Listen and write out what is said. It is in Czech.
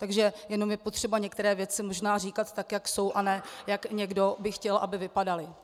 Takže jenom je potřeba některé věci možná říkat tak, jak jsou, a ne jak někdo by chtěl, aby vypadaly.